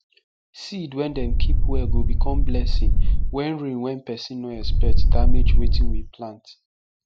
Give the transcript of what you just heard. seed wey dem keep well go become blessing wen rain wen pesin nor expect damage wetin we plant